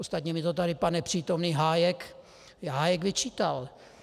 Ostatně mi to tady pan nepřítomný Hájek vyčítal.